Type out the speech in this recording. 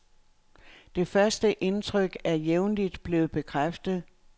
Det første indtryk er jævnligt blevet bekræftet.